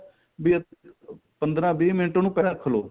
ਜੇ ਪੰਦਰਾਂ ਵੀਹ ਮਿੰਟ ਉਹਨੂੰ ਰੱਖ ਲੋ